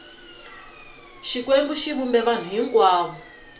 xikwembu xi vumbe vanhu hinkwavo